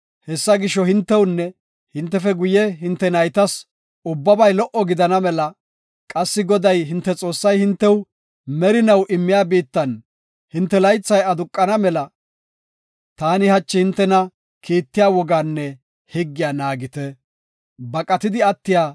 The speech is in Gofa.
Hessa gisho, hintewunne hintefe guye hinte naytas ubbabay lo77o gidana mela, qassi Goday hinte Xoossay hintew merinaw immiya biittan hinte laythay aduqana mela, taani hachi hintena kiittiya wogaanne higgiya naagite.